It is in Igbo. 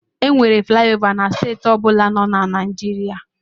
Enwere flayova na steeti ọ bụla na Naịjirịa.